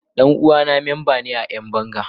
Dan uwana memba ne a Yan banga.